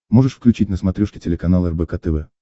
можешь включить на смотрешке телеканал рбк тв